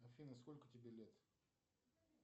афина сколько тебе лет